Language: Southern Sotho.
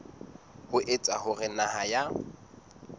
ho etsa hore naha ya